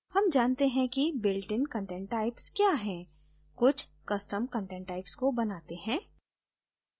हम जानते हैं कि builtin content types क्या है कुछ custom content types को बनाते हैं